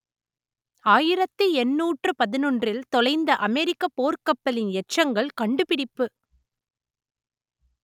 ஆயிரத்து எண்ணூற்று பதினொன்றில் தொலைந்த அமெரிக்கப் போர்க்கப்பலின் எச்சங்கள் கண்டுபிடிப்பு